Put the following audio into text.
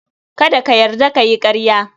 Kada ka yarda ka yi ƙarya.